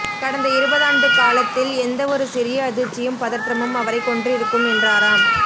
கடந்த இருபதாண்டுக்காலத்தில் எந்த ஒரு சிறிய அதிர்ச்சியும் பதற்றமும் அவரைக் கொன்றிருக்கும் என்றாராம்